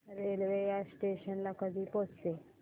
railway या station ला कधी पोहचते